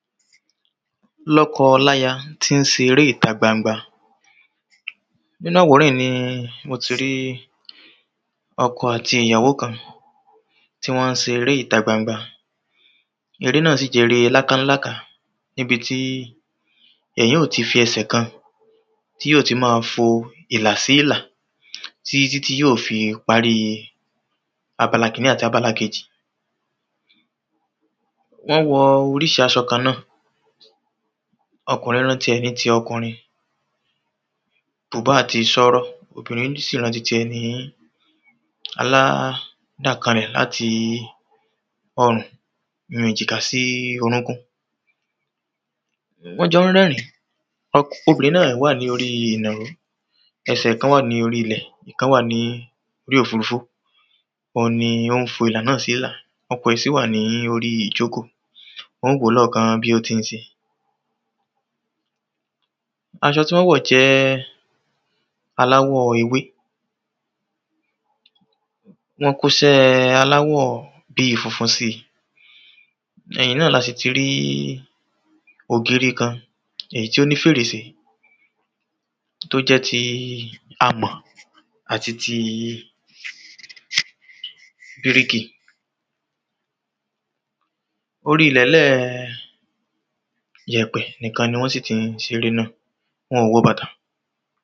lọ́kọ láya tí ń ṣe eré ìta gbangba nínu àwòrán yìí ni mo ti rí ọkọ àti ìyàwó kan ti wọ́n ń ṣeré ìta gbangba eré náà sì jẹ́ eré lákáńlàká, níbití èyàn óò fi ẹsẹ̀ ẹyọkan tí ó fi máa fo ìlà sí ìlà títítí yóò fi parí abala kìnní àti abala kejì wọ́n wọ oríṣi aṣọ kan náà, ọkùrin rán tiẹ̀ ní ti ọkùrin bùbá àti ṣọ́rọ́. obìrin sì rán tiẹ̀ aládàkalẹ láti ọrùn èjìká sí orúnkún. wọ́n jọ ń rẹ́rìn ín, obìrin náà wà lóri ìrìnà ẹsẹ̀ ẹ̀ kán wà lóri ilẹ̀, ìkan wà ní orí òfurufú. òun ni ó ń fo ìlà náà sí ìlà, ọkọ̀ rẹ̀ sì wà lóri ìjókòó ó ń wòó lọ́ọ̀kán bí ó ti ń ṣe, aṣọ tí wọ́n wọ̀ jẹ́ aláwọ̀ ewé, wọ́n kóṣẹ aláwọ̀ bíi funfun síi ẹ̀yìn náà la sì ti rí ògiri kan èyí tó ní fèrèsé tí ó jẹ́ ti amọ̀ àti ti bíríkì orí ilẹ̀ńlẹ̀ yẹ̀pẹ̀ nìkan ni wọ́n sì ti ń ṣe eré náà, wọn ò wọ bàtà.